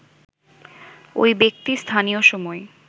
ওই ব্যক্তি স্থানীয় সময়